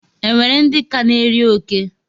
E nwere ndị ka na-eri oke?